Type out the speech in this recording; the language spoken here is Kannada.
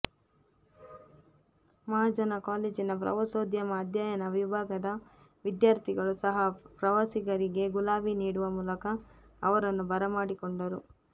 ಮಹಾಜನ ಕಾಲೇಜಿನ ಪ್ರವಾಸೋದ್ಯಮ ಅಧ್ಯಯನ ವಿಭಾಗದ ವಿದ್ಯಾರ್ಥಿಗಳು ಸಹ ಪ್ರವಾಸಿಗರಿಗೆ ಗುಲಾಬಿ ನೀಡುವ ಮೂಲಕ ಅವರನ್ನು ಬರಮಾಡಿಕೊಂಡರು